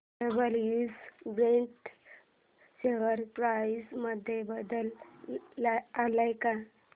WH Brady share price मध्ये बदल आलाय का